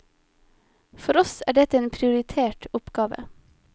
For oss er dette en prioritert oppgave.